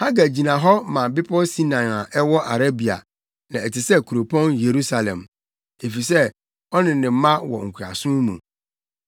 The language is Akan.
Hagar gyina hɔ ma bepɔw Sinai a ɛwɔ Arabia na ɛte sɛ kuropɔn Yerusalem, efisɛ ɔne ne mma wɔ nkoasom mu.